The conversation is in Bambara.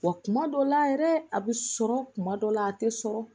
Wa kuma dɔ la yɛrɛ a bɛ sɔrɔ kuma dɔ la a tɛ sɔrɔ